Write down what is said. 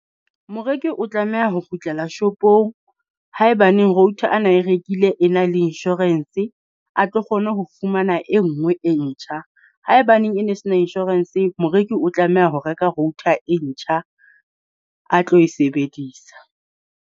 Moreki o tlameha ho kgutlela shopong haebaneng router a na e rekile e na le insurance, a tlo kgona ho fumana e nngwe e ntjha. Haebaneng e ne se na insurance, moreki o tlameha ho reka router e ntjha a tlo e sebedisa.